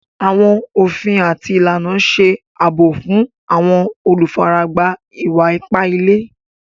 Àwọn ofín àti ilànà ṣè abọ̀ fún àwọn olúfáràgbá ìwà-ìpà ìlẹ̀.